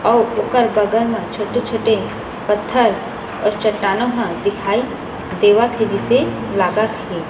अउ ओकर बगल मा छोटे-छोटे पत्थर अउ चट्टानों ह दिखाई देवत हे जिसे लागत हे।